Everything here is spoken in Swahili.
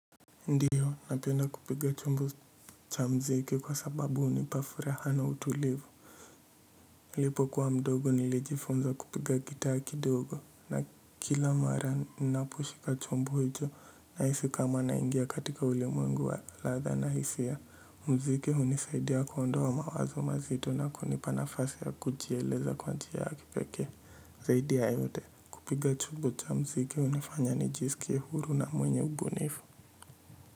Ndio napenda kupiga chombo cha mziki, kwa sababu unipafuraha na utulivu nilipo kuwa mdogo nilijifunza kupiga gitaa kidogo. Na kila mara ninaposhika chombo hicho nahisi kama naingia katika ulimwengu wa laadha na hisia. Mziki hunisaidia kuondoa mawazo mazito na kunipa nafasi ya kujieleza kwa njia ya kipekee zaidi ya yote, kupiga chombo cha mziki hunifanya nijiskie uhuru na mwenye ubunifu.